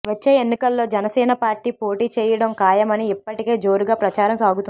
వచ్చే ఎన్నికల్లో జనసేన పార్టీ పోటీచేయడం ఖాయమని ఇప్పటికే జోరుగా ప్రచారం సాగుతోంది